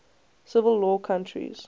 civil law countries